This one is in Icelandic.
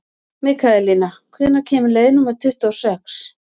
Mikaelína, hvenær kemur leið númer tuttugu og sex?